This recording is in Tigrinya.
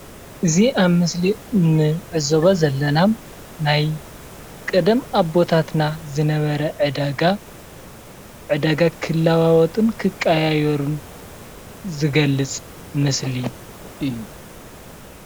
እዚ ኣብ ምስሊ እንዕዘቦ ዝለና ናይ ቀደም ኣቦታትና ዝነበረ ዕዳጋ ዕዳጋ ኽገብሩን ኽለዋወጡን ዝገልፅ ምስሊ እዩ።